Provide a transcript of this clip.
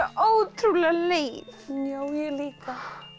ótrúlega leið já ég líka